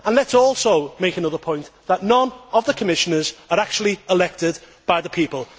Let us also make another point, that none of the Commissioners are actually elected by the people.